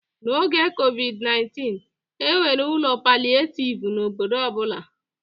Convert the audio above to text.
N'oge COVID-19, e nwere ụlọ palịetivu n'obodo ọ bụla.